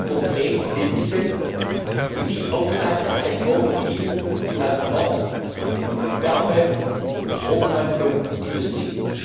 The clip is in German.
konkret und verbindlich sind, und dies aufgeteilt nach Sektoren wie Transport, Wärme, Stromumwandlung, Industrie.